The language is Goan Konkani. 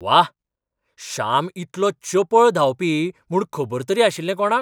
वाह! श्याम इतलो चपळ धांवपी म्हूण खबर तरी आशिल्लें कोणाक?